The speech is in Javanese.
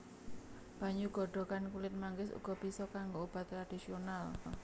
Banyu godhogan kulit manggis uga bisa kanggo obat tradisional